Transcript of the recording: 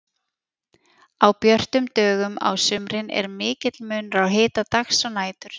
á björtum dögum á sumrin er mikill munur á hita dags og nætur